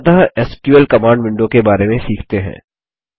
अंतत SQL command window के बारे में सीखते हैं